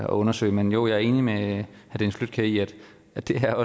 og undersøge men jo jeg er enig med herre dennis flydtkjær i at at det er